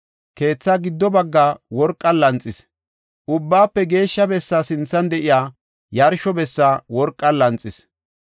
Keetha giddo baggaa worqan lanxis; Ubbaafe Geeshsha Bessaa sinthan de7iya yarsho bessa worqan lanxis.